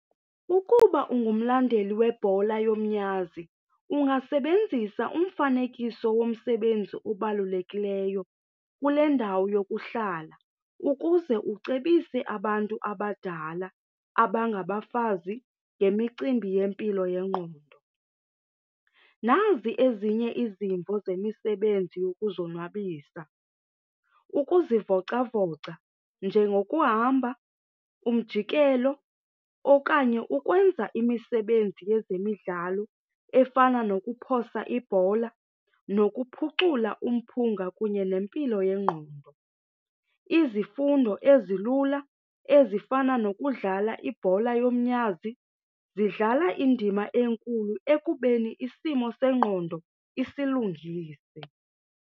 Ukuba ungumlandeli webhola yomnyazi ungasebenzisa umfanekiso womsebenzi obalulekileyo kule ndawo yokuhlala ukuze ucebise abantu abadala abangabafazi ngemicimbi yempilo yengqondo. Nazi ezinye izimvo zemisebenzi yokuzonwabisa, ukuzivocavoca njengokuhamba, umjikelo okanye ukwenza imisebenzi yezemidlalo efana nokuphosa ibhola nokuphucula umphunga kunye nempilo yengqondo. Izifundo ezilula ezifana nokudlala ibhola yomnyazi zidlala indima enkulu ekubeni isimo sengqondo isilungise.